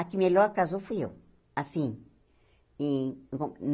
A que melhor casou fui eu, assim. Em